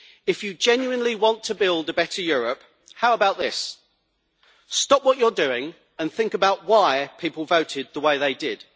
If you genuinely want to build a better Europe, how about this stop what you are doing and think about why people voted the way they did.